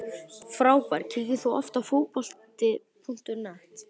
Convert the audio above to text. Frábær Kíkir þú oft á Fótbolti.net?